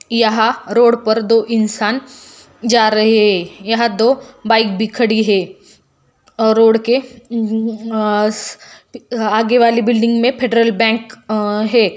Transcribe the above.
यहा रोड पर दो इंसान जा रहे है यहा दो बाइक भी खड़ी है रोड के आगे वाली बिल्डिंग मे फेड्रल बैंक अ-ह है।